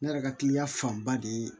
Ne yɛrɛ ka kiliyan fanba de ye